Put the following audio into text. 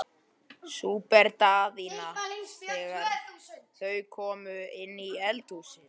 spurði Daðína þegar þau komu inn í eldhúsið.